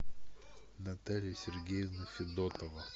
наталья сергеевна федотова